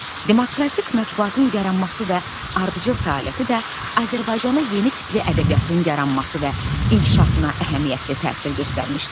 Demokratik mətbuatın yaranması və ardıcıl fəaliyyəti də Azərbaycanda yeni tipli ədəbiyyatın yaranması və inkişafına əhəmiyyətli təsir göstərmişdi.